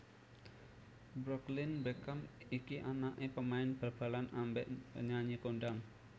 Brooklyn Beckham iki anak e pemain bal balan ambek penyanyi kondang